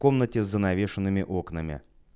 комнате занавешенными окнами